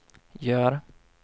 gör